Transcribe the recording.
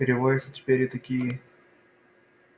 переводятся теперь и такие